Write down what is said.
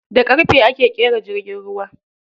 Da ƙarfe ake ƙera jirgin ruwa.